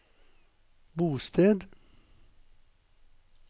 bosted